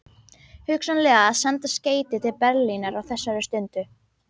Hugsanlega að senda skeyti til Berlínar á þessari stundu.